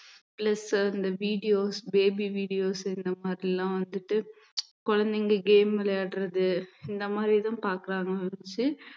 plus இந்த videosbaby videos இந்த மாதிரி எல்லாம் வந்துட்டு குழந்தைங்க game விளையாடுறது இந்த மாதிரிதான் பார்க்கறாங்க ஒழிச்சு